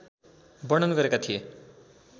वर्णन गरेका थिए